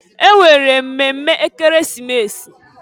E nwere mmemme Ekeresimesi.